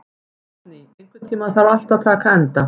Rósný, einhvern tímann þarf allt að taka enda.